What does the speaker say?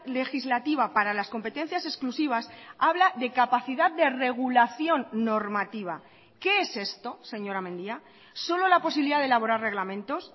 legislativa para las competencias exclusivas habla de capacidad de regulación normativa qué es esto señora mendia solo la posibilidad de elaborar reglamentos